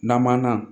Namana